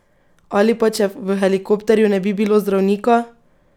Ali pa če v helikopterju ne bi bilo zdravnika?